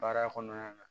Baara kɔnɔna na